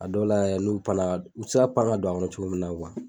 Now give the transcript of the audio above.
A dɔw la yɛ n'u panna u tɛ se ka pan ka don an kɔnɔ cogo min na